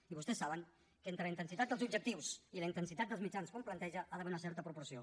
i vostès saben que entre la intensitat dels objectius i la intensitat dels mitjans que un planteja hi ha d’haver una certa proporció